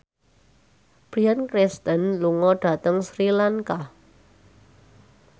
Bryan Cranston lunga dhateng Sri Lanka